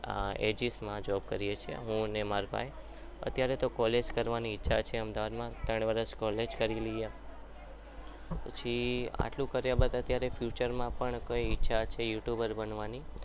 એજીસમાં job કરીએ છીએ હું અને મારા ભાઈ અત્યારે તો college કરવાની ઈચ્છા છે અમદાવાદમાં ત્રણ વર્ષ college કરી લઈ પછી આટલું કર્યા બાદ future માં કંઈક ઈચ્છા છે youtuber બનવાની